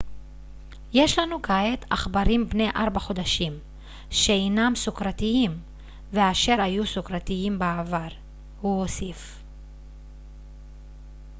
יש לנו כעת עכברים בני 4 חודשים שאינם סוכרתיים ואשר היו סוכרתיים בעבר הוא הוסיף